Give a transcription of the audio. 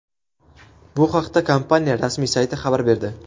Bu haqda kompaniya rasmiy sayti xabar berdi .